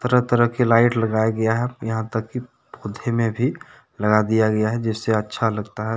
तरह- तरह की लाइट लगाया गया हैं यहां तक की पौधे में भी लगा दिया गया हैं जिससे अच्छा लगता है।